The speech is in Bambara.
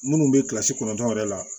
Minnu bɛ kilasi kɔnɔntɔn yɛrɛ la